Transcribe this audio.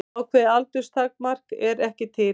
Ákveðið aldurstakmark er ekki til.